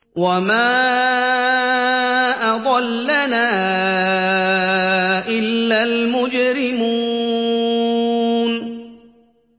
وَمَا أَضَلَّنَا إِلَّا الْمُجْرِمُونَ